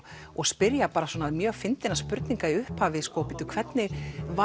og spyrja mjög spurninga í upphafi bíddu hvernig